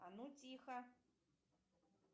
а ну тихо